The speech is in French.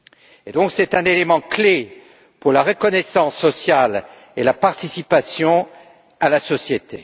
C'est donc un élément clé pour la reconnaissance sociale et la participation à la société.